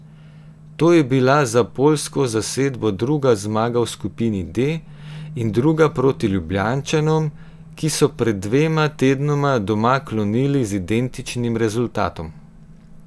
To je bila za poljsko zasedbo druga zmaga v skupini D, in druga proti Ljubljančanom, ki so pred dvema tednoma doma klonili z identičnim rezultatom.